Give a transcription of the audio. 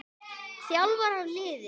Þjálfar hann liðið?